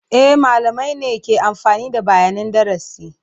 E, malamai ne ke amfani da bayanin darasi.